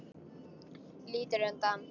Lítur undan.